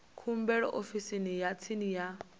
khumbelo ofisini ya tsini ya